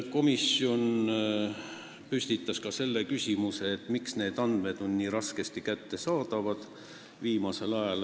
Komisjon tõstatas ka küsimuse, miks need andmed on viimasel ajal nii raskesti kättesaadavad.